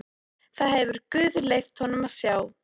Það hefur guð leyft honum að sjá.